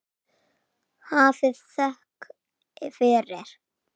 Hafið þökk fyrir.